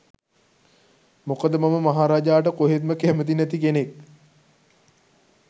මොකද මම මහ රජාට කොහෙත්ම කැමති නැති කෙනෙක්.